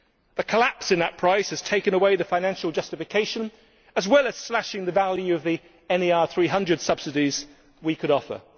The collapse in that price has taken away the financial justification, as well as slashing the value of the NER300 subsidies we could offer.